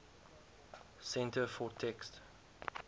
centre for text